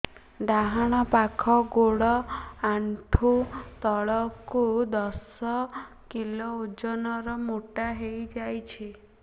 ଡାହାଣ ପାଖ ଗୋଡ଼ ଆଣ୍ଠୁ ତଳକୁ ଦଶ କିଲ ଓଜନ ର ମୋଟା ହେଇଯାଇଛି